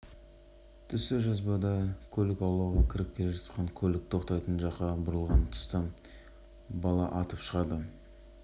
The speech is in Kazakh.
редакциясына тұрғын үй кешенінің ауласында орнатылған бейнекамералар жазбалары арқылы болған оқиға жайында түсінік беретін ролик келіп